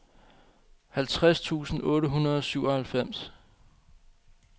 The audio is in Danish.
halvtreds tusind otte hundrede og syvoghalvfems